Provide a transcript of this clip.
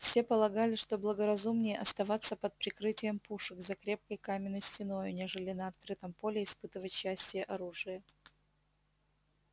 все полагали что благоразумнее оставаться под прикрытием пушек за крепкой каменной стеною нежели на открытом поле испытывать счастье оружия